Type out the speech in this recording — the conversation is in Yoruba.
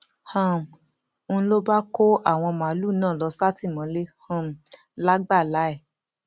um n ló bá kó àwọn màálùú náà lọ sátìmọlé um lágbàlà ẹ